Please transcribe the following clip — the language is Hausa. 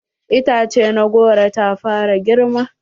Itace na goro ta fara girma.